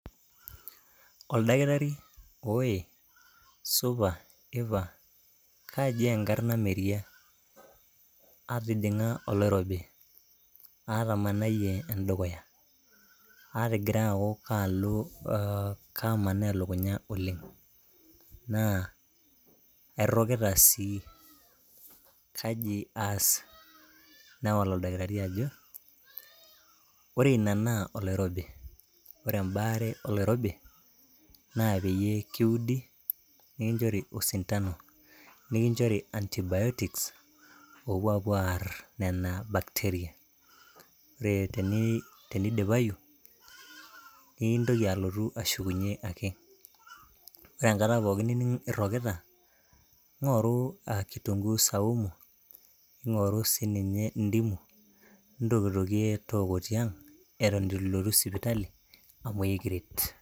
oldakitari , oe ,supa ,ipa. Kaji enkarna Meria, atijinga oloirobi, atamanayie endukuya , atigira aku kalo, kamaaa elukunya oleng, naa airokita sii kaji aas ?. Newal oldakitari ajo , ore ina naa oloirobi, ore embaare oloirobi naa peyie kiudi , nikinchori osintano ,nikinchori anti biotics opuo apuo aar nena bacteria. Ore tenidipayu niintoki alotu ashukunyie ake ,ore enkata pooki nining irokita ingoru a kitunguu saumu, ingoru sininye ndimu ntokitokie tooko tiang eton itu ilotu sipitali amu ekiret.